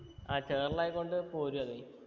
ആ ചേറെല്ലു ആയകൊണ്ട് പോരു അതെ